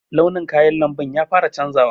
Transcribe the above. Launin kayan lamɓun ya fara canzawa.